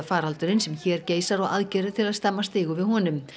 ópíóíðafaraldurinn sem hér geisar og aðgerðir til að stemma stigu við honum